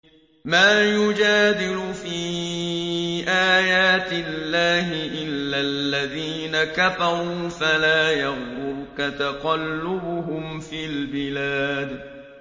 مَا يُجَادِلُ فِي آيَاتِ اللَّهِ إِلَّا الَّذِينَ كَفَرُوا فَلَا يَغْرُرْكَ تَقَلُّبُهُمْ فِي الْبِلَادِ